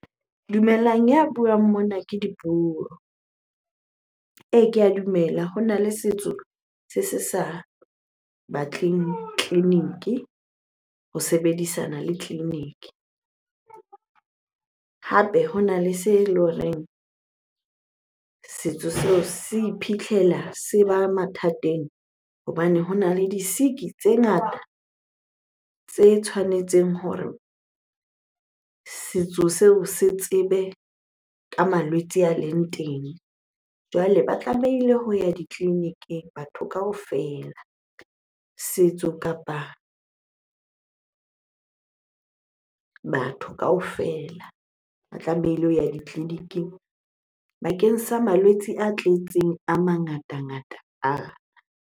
Dumelang, ya buang mona ke Dipuo. Ee, ke a dumela hona le setso se se sa batleng tleliniki, ho sebedisana le tleliniki. Hape, hona le se le horeng setso seo se iphitlhela se ba mathateng hobane hona le di-sick-i tse ngata tse tshwanetseng hore setso seo se tsebe ka malwetse a leng teng. Jwale ba tlamehile ho ya ditleliniking batho kaofela, setso kapa batho kaofela ba tlamehile ho ya ditleliniking bakeng sa malwetse a tletseng a mangatangata .